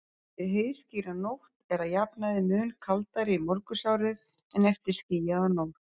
Eftir heiðskíra nótt er að jafnaði mun kaldara í morgunsárið en eftir skýjaða nótt.